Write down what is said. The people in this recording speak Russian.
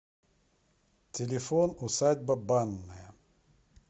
телефон усадьба банная